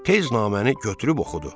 Tez naməni götürüb oxudu.